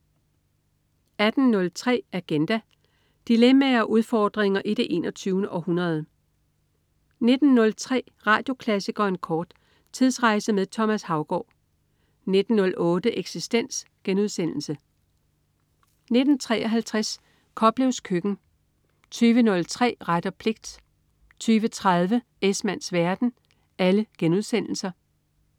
18.03 Agenda. Dilemmaer og udfordringer i det 21. århundrede 19.03 Radioklassikeren kort. Tidsrejse med Thomas Haugaard 19.08 Eksistens* 19.53 Koplevs Køkken* 20.03 Ret og pligt* 20.30 Esmanns verden*